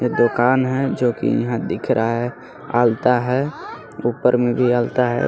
दुकान है जो कि यहां दिख रहा है अल्ता है ऊपर में भी अल्ता है उस --